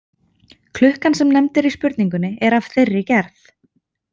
Klukkan sem nefnd er í spurningunni er af þeirri gerð.